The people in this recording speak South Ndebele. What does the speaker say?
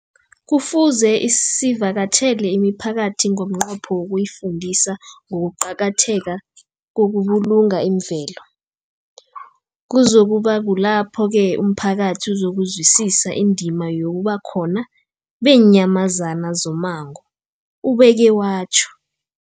Kufuze sivakatjhele imiphakathi ngomnqopho wokuyifundisa ngokuqakatheka kokubulunga imvelo. Kuzoku ba kulapho-ke umphakathi uzokuzwisisa indima yobukhona beenyamazana zommango, ubeke watjho.